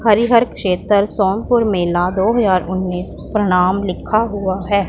हरिहर क्षेत्र सोनपुर मेला दो हजार उन्नीश प्रणाम लिखा हुआ है।